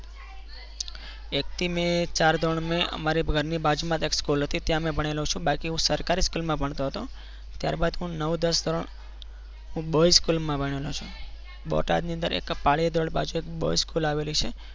એકથી મે ચાર ધોરણ મેં અમારી ઘરની બાજુમાં દક્ષ કુલ હતી ત્યાં ભણેલો છું બાકી સરકારી school માં ભણતો હતો ત્યારબાદ પણ નવ દસ ધોરણ પણ હું બોયઝ school માં ભણેલો છું. બોટાદ ની અંદર એક પાળીયા ધોરણ બાજુ એક school આવેલી છે.